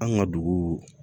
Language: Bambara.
An ka dugu